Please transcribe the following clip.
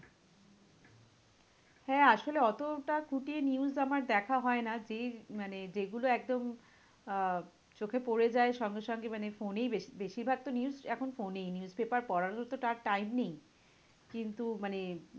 হ্যাঁ আসলে অতোটা খুঁটিয়ে news আমার দেখা হয় না? যে মানে যেগুলো একদম আহ চোখে পরে যায় সঙ্গে সঙ্গে মানে ফোনেই বেশি~ বেশির ভাগ তো news এখন ফোনেই। newspaper পড়ারও তো time নেই। কিন্তু মানে